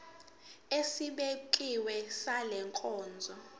esibekiwe sale nkonzo